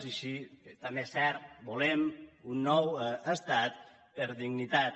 i sí també és cert volem un nou estat per dignitat